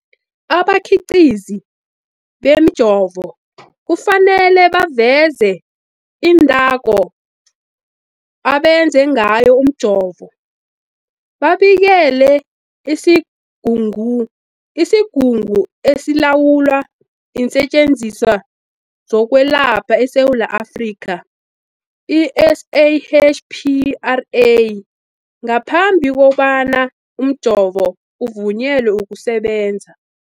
Abakhiqizi bemijovo kufanele baveze iinthako abenze ngazo umjovo, babikele isiGungu esiLawula iinSetjenziswa zokweLapha eSewula Afrika, i-SAHPRA, ngaphambi kobana umjovo uvunyelwe ukusebenza.